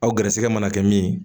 Aw garisɛgɛ mana kɛ min ye